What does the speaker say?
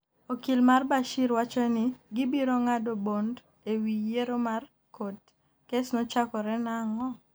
okil mar Bashir wacho ni gibiro ng'ado bond e wi yiero mar kot. kes nochakore nang'o?